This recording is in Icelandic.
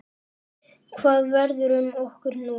Hvað verður um okkur nú?